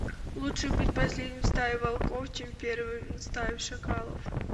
лучше быть последним в стае волков чем первым в стае шакалов